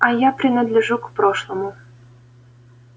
а я принадлежу к прошлому